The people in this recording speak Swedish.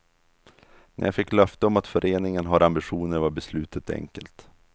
När jag fick löfte om att föreningen har ambitioner var beslutet enkelt.